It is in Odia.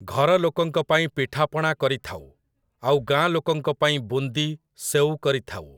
ଘର ଲୋକଙ୍କ ପାଇଁ ପିଠାପଣା କରିଥାଉ, ଆଉ ଗାଁ ଲୋକଙ୍କ ପାଇଁ ବୁନ୍ଦି, ସେଉ କରିଥାଉ ।